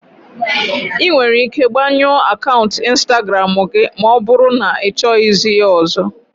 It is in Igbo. Ị nwere ike gbanyụọ akaụntụ Instagramu gị ma ọ bụrụ na ịchọghị ya ọzọ.